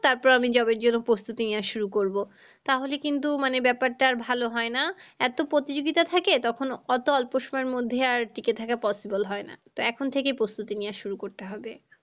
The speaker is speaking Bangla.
তারপর আমি job এর জন্য প্রস্তুতি নেওয়া শুরু করবো। তাহলে কিন্তু মানে ব্যাপারটা আর ভালো হয় না এতো প্রতিযোগিতা থাকে তখন অত অল্প সময়ের মধ্যে আর টিকে থাকা possible হয় না। তো এখন থেকেই প্রস্তুতি নেওয়া শুরু করতে হবে